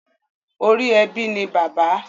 Ori ebi ni bàbá.